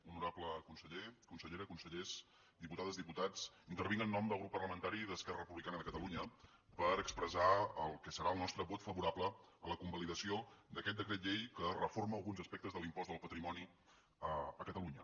honorable conseller consellera consellers diputades diputats intervinc en nom del grup parlamentari d’esquerra republicana de catalunya per expressar el que serà el nostre vot favorable a la convalidació d’aquest decret llei que reforma alguns aspectes de l’impost del patrimoni a catalunya